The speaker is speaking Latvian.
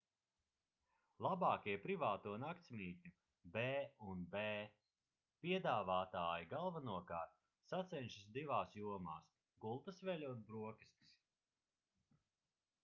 labākie privāto naktsmītņu b&b piedāvātāji galvenokārt sacenšas divās jomās – gultasveļa un brokastis